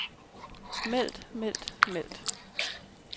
meldt meldt meldt